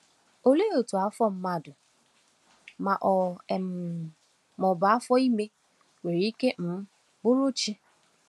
Olee otú afọ mmadụ, ma ọ um bụ afọ ime, nwere ike um bụrụ chi?